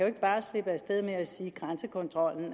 ikke bare slippe af sted med at sige grænsekontrollen